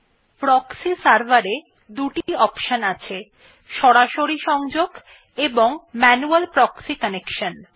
proxy server এ দুটি option আছে সরাসরি সংযোগ এবং ম্যানুয়াল proxy কানেকশন